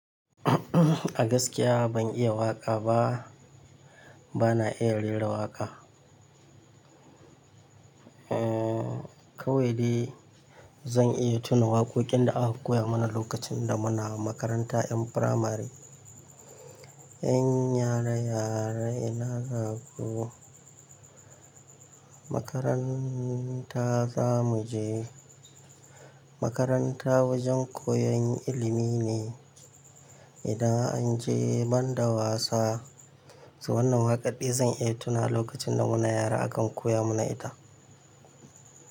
A gaskiya ban iya waƙa ba, bana iya rera waƙa. Eh, kawai dai zan iya tuna waƙoƙin da aka koya mana lokacin da muna makaranta 'yan firamare. "Yan yara, yara ina zaku? Makaranta zamu je. Makaranta wajen koyon ilimi ne, idan an je ban da wasa." To wannan waƙa daya zan iya tuna lokacin da muna yara akan koya mana ita.